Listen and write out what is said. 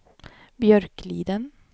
Björkliden